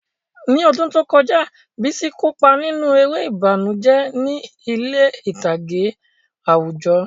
Ní ọdún tó kọjá, Bisi kó ipa nínú eré ìbànújẹ́ ní ilé ìtàgé àwùjọ.